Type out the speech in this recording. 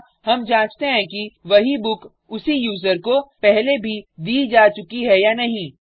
यहाँ हम जांचते हैं कि वही बुक उसी यूज़र को पहले भी दी जा चुकी है या नहीं